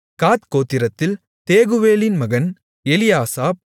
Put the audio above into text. காத் கோத்திரத்தில் தேகுவேலின் மகன் எலியாசாப்